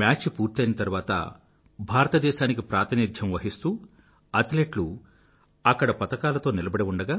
match పూర్తయిన తరువాత భారతదేశానికి ప్రాతినిధ్యం వహిస్తూ అథ్లెట్లు అక్కడ పతకాలతో నిలబడి ఉండగా